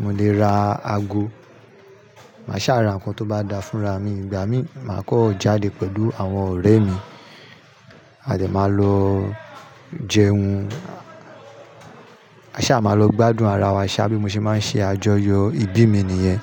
mò lè ra ago, mà sá ra ǹkan tó bá da fún ra mi. Ìgbà mí, màá kan jáde pẹ̀lú àwọn ọ̀rẹ́ mi, a de máa lọ jẹun, a sá máa lọ gbádùn ara wa, ṣá bí mo ṣe máa ń ṣe àjọyọ̀ ìbí mi nìyẹn.